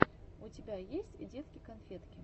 у тебя есть детки конфетки